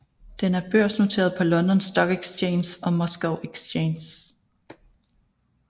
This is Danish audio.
Den er børsnoteret på London Stock Exchange og Moscow Exchange